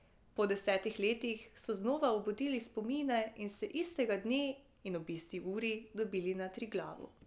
Po desetih letih so znova obudili spomine in se istega dne in ob isti uri dobili na Triglavu.